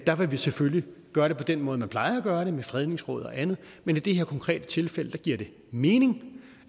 der vil vi selvfølgelig gøre det på den måde man plejer at gøre det med fredningsråd og andet men i det her konkrete tilfælde giver det mening